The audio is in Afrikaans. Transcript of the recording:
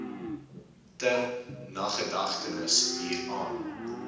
ter nagedagtenis hieraan